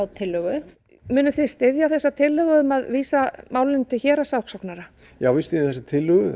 tillögu munuð þið styðja þessa tillögu um að vísa málinu til héraðssakssóknara já við styðjum þessa tillögu